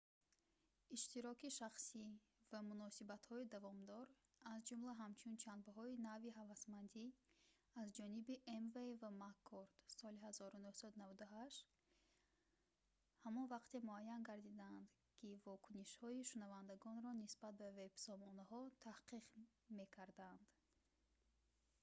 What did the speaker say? иштироки шахсӣ» ва «муносибатҳои давомдор» аз ҷумла ҳамчун ҷанбаҳои нави ҳавасмандӣ аз ҷониби эймей ва маккорд соли 1998 ҳамон вақте муайян гардидаанд ки вокунишҳои шунавандагонро нисбат ба вебсомонаҳо таҳқиқ мекарданд